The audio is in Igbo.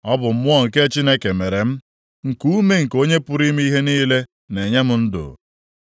Ọ bụ Mmụọ nke Chineke mere m, nkuume nke Onye pụrụ ime ihe niile na-enye m ndụ.